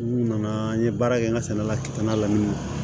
N'u nana an ye baara kɛ n ka sɛnɛ la k'i tanga la min na